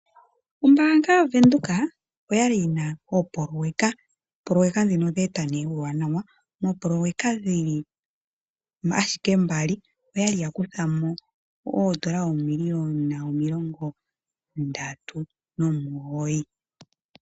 Ombaanga yavenduka oya li yi na oopoloyeka. Oopoloyeka ndhino odhe eta nee omauwanawa. Moopoloyeka dhili ashike mbali, oya li yakuthamo oondola, oomiliyona omilongo ndatu, nomugoyi.